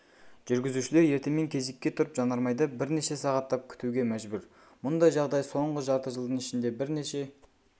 жүргізушілер ертемен кезекке тұрып жанармайды бірнеше сағаттап күтуге мәжбүр мұндай жағдай соңғы жарты жылдың ішінде бірнеше